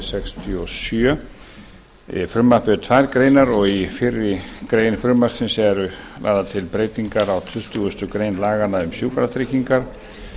sextíu og sjö frumvarpið er tvær greinar í fyrri grein þess eru lagðar til breytingar á tuttugustu greinar laganna um sjúkratryggingar